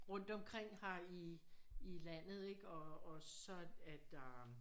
Rundt omkring her i landet og så er der